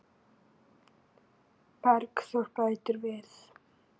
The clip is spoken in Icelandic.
Bergþór bætir við.